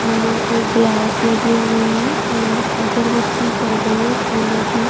फूलों के ग्लास लगे हुए है और अगरबत्ती जल रही है फूलों की --